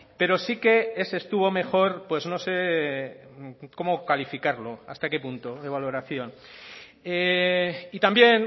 pero sí que ese estuvo mejor pues no sé cómo calificarlo hasta qué punto de valoración y también